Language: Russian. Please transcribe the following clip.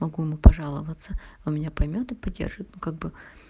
могу ему пожаловаться он меня поймёт и поддержит ну как бы